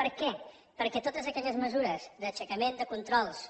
per què perquè totes aquelles mesures d’aixecament de controls